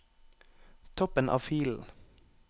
Toppen av filen